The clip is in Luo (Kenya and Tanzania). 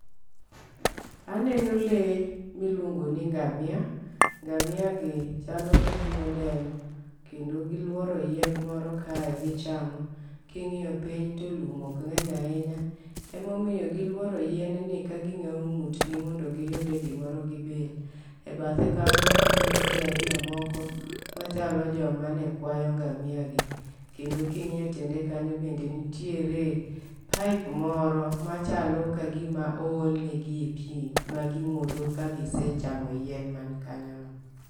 Aneno lee miluongo ni ngamia ngamia gi chalo kagima odenyo kendo giluoro yien moro kae gichamo .King'iyo piny to lum ok ng'eny ahinya emomiyo giluoro yien ni ka ging'awo ng'utgi mond giyude gimoro gibil. E bathe kanyo aneno jii ariyo moko ma chalo joma ne kwayo ngamia gi kendo king'iyo tiende kanyo ne nitiere pipe moro machalo kagima oolne gie pii ma gimodho ka gisechamo yien man kanyo no.